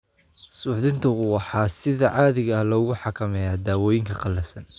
Suuxdintu waxa sida caadiga ah lagu xakameeyaa dawooyinka qallafsan.